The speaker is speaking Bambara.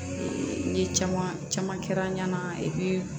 N ye caman caman kɛ n ɲana